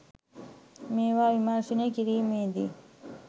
මේවා විමර්ශනය කිරිමේ දී